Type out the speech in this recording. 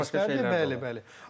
Bəli, bəli.